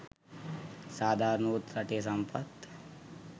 සාධාරණ වූත් රටේ සම්පත්